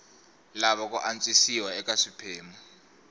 lava ku antswisiwa eka swiphemu